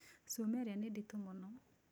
Cuma ĩrĩa nĩ nditũ mũno.